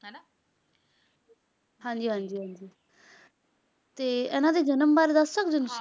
ਹਾਂਜੀ ਹਾਂਜੀ ਹਾਂਜੀ ਤੇ ਇਹਨਾਂ ਦੇ ਜਨਮ ਬਾਰੇ ਦੱਸ ਸਕਦੇ ਹੋ ਤੁਸੀਂ?